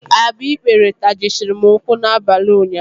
Agbikpere tajisiri m ụkwụ n'abalị ụnyaahụ.